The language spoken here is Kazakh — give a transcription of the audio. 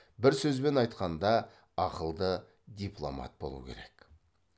бір сөзбен айтқанда ақылды дипломат болу керек